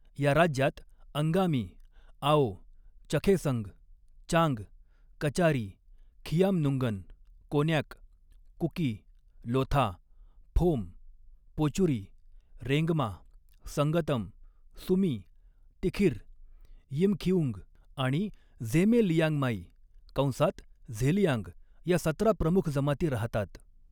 या राज्यात अंगामी, आओ, चखेसंग, चांग, कचारी, खियामनुंगन, कोन्याक, कुकी, लोथा, फोम, पोचुरी, रेंगमा, संगतम, सुमी, तिखिर, यिमखिउंग आणि झेमे लियांगमाई कंसात झेलियांग या सतरा प्रमुख जमाती राहतात.